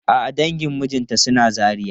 A'a dangin mijinta suna Zaria.